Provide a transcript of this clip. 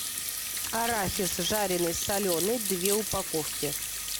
арахис жареный соленый две упаковки